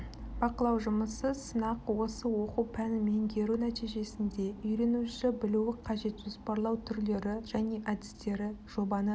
бақылау жұмысы сынақ осы оқу пәнін меңгеру нәтижесінде үйренуші білуі қажет жоспарлау түрлері және әдістері жобаны